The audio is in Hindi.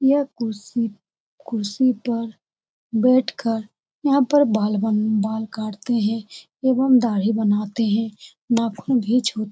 यह कुर्सी कुर्सी पर बैठ कर यहाँ पर बाल बन काटते हैं एवं दाढ़ी बनाते हैं नाखुन भी छु --